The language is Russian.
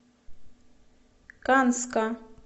канска